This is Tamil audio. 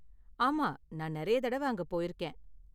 ஆமா, நான் நிறைய தடவ அங்க போயிருக்கேன்.